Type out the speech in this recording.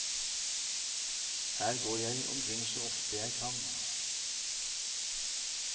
Her går jeg omkring så ofte jeg kan.